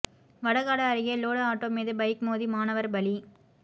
வடகாடு அருகே load auto மீது bike மோதி மாணவர் பலி